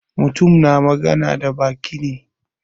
Mutum na magana da baki ne.